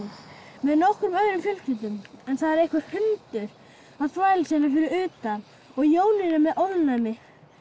með nokkrum öðrum fjölskyldum það er einhver hundur að þvælast hérna fyrir utan og Jónína er með ofnæmi